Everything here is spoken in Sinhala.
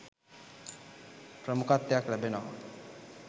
ප්‍රමුඛත්වයක් ලැබෙනවා